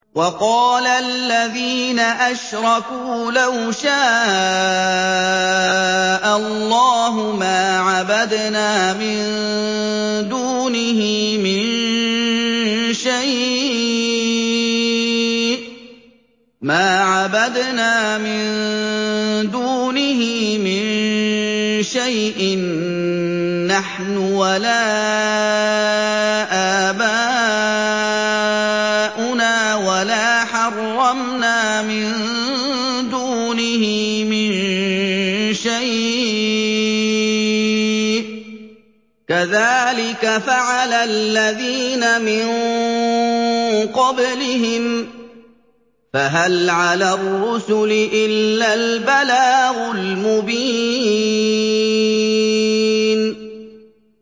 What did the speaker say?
وَقَالَ الَّذِينَ أَشْرَكُوا لَوْ شَاءَ اللَّهُ مَا عَبَدْنَا مِن دُونِهِ مِن شَيْءٍ نَّحْنُ وَلَا آبَاؤُنَا وَلَا حَرَّمْنَا مِن دُونِهِ مِن شَيْءٍ ۚ كَذَٰلِكَ فَعَلَ الَّذِينَ مِن قَبْلِهِمْ ۚ فَهَلْ عَلَى الرُّسُلِ إِلَّا الْبَلَاغُ الْمُبِينُ